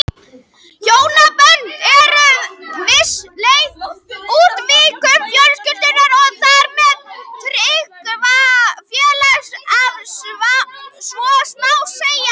Hjónabönd voru að vissu leyti útvíkkun fjölskyldunnar og þar með tryggingafélagsins ef svo má segja.